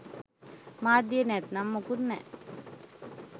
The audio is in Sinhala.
මාධ්‍ය නැත්නම් මුකුත් නෑ